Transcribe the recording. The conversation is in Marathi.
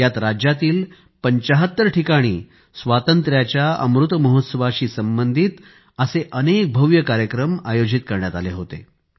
यात राज्यातील 75 जागांवर स्वातंत्र्याच्या अमृत महोत्सवाशी संबंधित अनेक भव्य कार्यक्रम आयोजित करण्यात आले होते